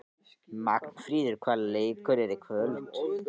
Magnfríður, hvaða leikir eru í kvöld?